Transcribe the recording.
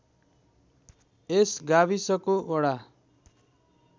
यस गाविसको वडा